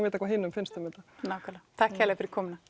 vita hvað hinum finnst um þetta nákvæmlega takk kærlega fyrir komuna